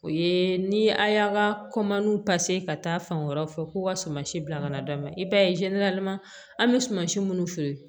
O ye ni a y'an ka ka taa fan wɛrɛw fɛ ko ka suma si bila ka na d'an ma i b'a ye an bɛ sumansi minnu feere